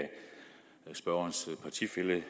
spørgerens partifælle